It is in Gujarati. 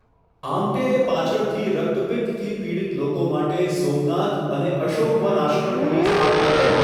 આમ્ટેએ પાછળથી રક્તપિત્તથી પીડિત લોકો માટે 'સોમનાથ' અને 'અશોકવન' આશ્રમોની સ્થાપના કરી.